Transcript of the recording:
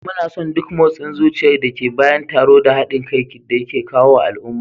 Muna son duk motsin zuciyar da ke bayan taro da haɗin kai da yake kawo wa al'umma